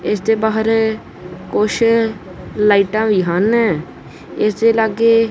ਇਸ ਦੇ ਬਾਹਰ ਕੁਛ ਲਾਈਟਾਂ ਵੀ ਹਨ ਇਸ ਦੇ ਲਾਗੇ--